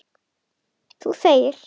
Þú þegir.